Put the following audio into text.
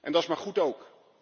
Dat is maar goed ook.